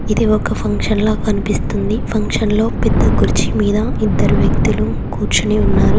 ఇది ఒక ఫంక్షన్ ల కనిపిస్తుంది ఫంక్షన్ లో పెద్ద కుర్చి మీద ఇద్దరు వ్యక్తులు కూర్చుని ఉన్నారు.